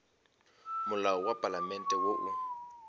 molao wa palamente wo o